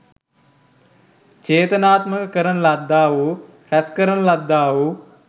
චේතනාත්මක කරන ලද්දා වූ රැස් කරන ලද්දා වූ